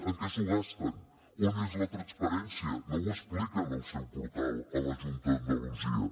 en què s’ho gasten on és la transparència no ho expliquen al seu portal a la junta d’andalusia